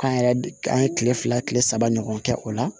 K'an yɛrɛ an ye kile fila kile saba ɲɔgɔn kɛ o la